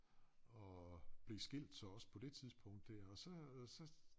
Og blev skilt så også på det tidspunkt der og så øh så